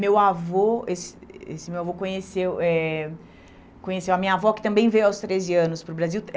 Meu avô esse eh esse meu avô conheceu eh conheceu a minha avó, que também veio aos treze anos para o Brasil.